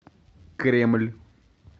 кремль